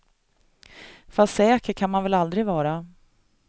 Fast säker kan man väl aldrig vara.